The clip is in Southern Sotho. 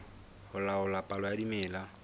ho laola palo ya dimela